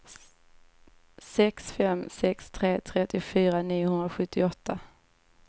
sex fem sex tre trettiofyra niohundrasjuttioåtta